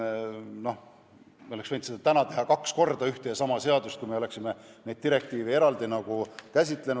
No me oleks võinud seda teha, kui oleksime neid direktiive eraldi käsitlenud.